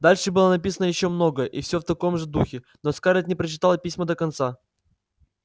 дальше было написано ещё много и все в таком же духе но скарлетт не прочитала письма до конца